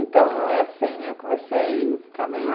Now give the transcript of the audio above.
Então, assim, eu comecei a ficar meia...